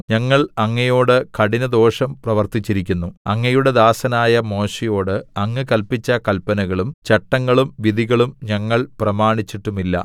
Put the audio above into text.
ഞങ്ങൾ അങ്ങയോട് കഠിനദോഷം പ്രവർത്തിച്ചിരിക്കുന്നു അങ്ങയുടെ ദാസനായ മോശെയോട് അങ്ങ് കല്പിച്ച കല്പനകളും ചട്ടങ്ങളും വിധികളും ഞങ്ങൾ പ്രമാണിച്ചിട്ടുമില്ല